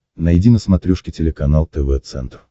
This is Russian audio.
найди на смотрешке телеканал тв центр